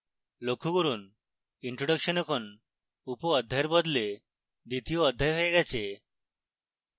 লক্ষ্য করুন introduction এখন উপঅধ্যায়ের বদলে দ্বিতীয় অধ্যায় হয়ে গেছে